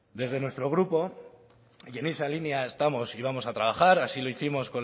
desde nuestro grupo y en esa línea estamos y vamos a trabajar así lo hicimos